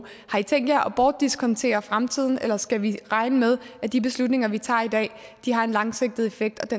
har i tænkt jer at bortdiskontere fremtiden eller skal vi regne med at de beslutninger vi tager i dag har en langsigtet effekt